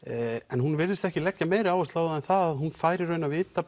en hún virðist ekki leggja meiri áherslu á það en það að hún fær í rauninni að vita